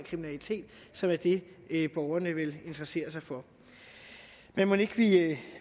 kriminalitet som er det borgerne vel interesserer sig for men mon ikke